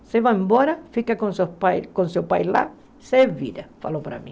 Você vai embora, fica com seus pais com seu pai lá, ele falou para mim.